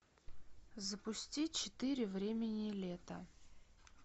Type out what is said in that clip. запусти четыре времени лета